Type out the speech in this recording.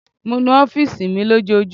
Mo nu ọfiisi mi lojoojumọ